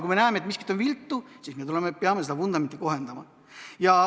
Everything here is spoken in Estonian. Kui me näeme, et miskit on viltu, siis me peame vundamenti kohendama.